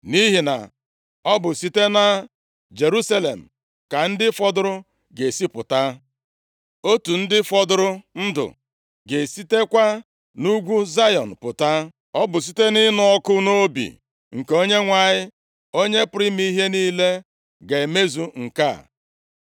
Nʼihi na ọ bụ site na Jerusalem ka ndị fọdụrụ ga-esi pụta; otu ndị fọdụrụ ndụ ga-esitekwa nʼugwu Zayọn pụta. “Ọ bụ site nʼịnụ ọkụ nʼobi nke Onyenwe anyị, Onye pụrụ ime ihe niile ga-emezu nke a.